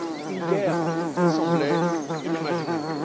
Une guerre semblait inimaginable.